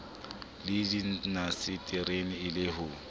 le dindaseteri e le ho